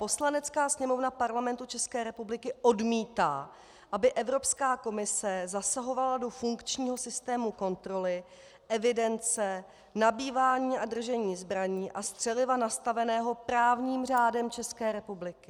Poslanecká sněmovna Parlamentu České republiky odmítá, aby Evropská komise zasahovala do funkčního systému kontroly, evidence, nabývání a držení zbraní a střeliva nastaveného právním řádem České republiky.